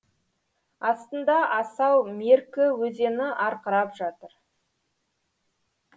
астында асау меркі өзені арқырап жатыр